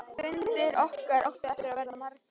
Fundir okkar áttu eftir að verða margir.